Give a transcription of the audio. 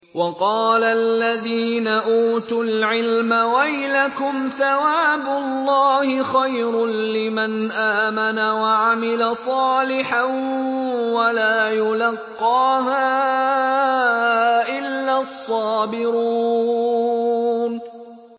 وَقَالَ الَّذِينَ أُوتُوا الْعِلْمَ وَيْلَكُمْ ثَوَابُ اللَّهِ خَيْرٌ لِّمَنْ آمَنَ وَعَمِلَ صَالِحًا وَلَا يُلَقَّاهَا إِلَّا الصَّابِرُونَ